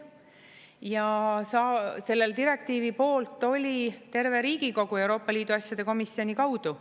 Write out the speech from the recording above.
Ja selle direktiivi poolt oli terve Riigikogu Euroopa Liidu asjade komisjoni kaudu.